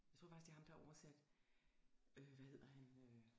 Jeg tror faktisk det er ham der har oversat øh hvad hedder han øh